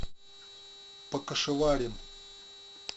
покашеварим